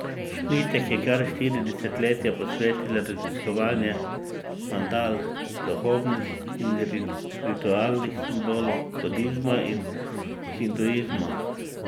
Šmitek je kar štiri desetletja posvetil raziskovanju mandal, duhovnih in ritualnih simbolov budizma in hinduizma.